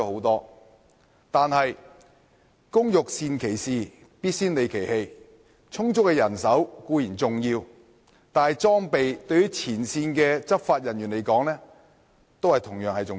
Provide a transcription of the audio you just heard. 然而，工欲善其事，必先利其器。充足的人手固然重要，但裝備對於前線的執法人員來說同樣重要。